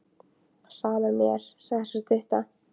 Sama er mér, sagði sú stutta.